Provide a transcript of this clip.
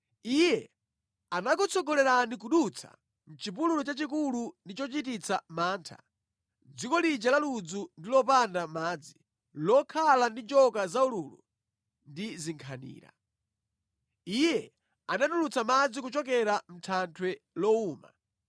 Iye anakutsogolerani kudutsa mʼchipululu chachikulu ndi chochititsa mantha, dziko lija la ludzu ndi lopanda madzi, lokhala ndi njoka zaululu ndi zinkhanira. Iye anatulutsa madzi kuchokera mʼthanthwe lowuma.